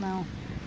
Não.